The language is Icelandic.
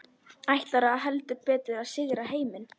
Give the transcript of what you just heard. Ætluðu heldur betur að sigra heiminn.